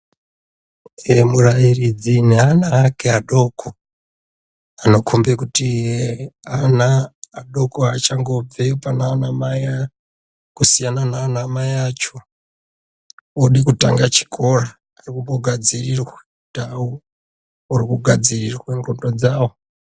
Murairidzi ne ana ake adoko anokombe kuti ana adoko achangobve pana ana mai kusiyana nana mai acho ode kutanga chikora ari kumbo gadzirirwa ndau oro ku gadzirirwa ndxondo dzawo.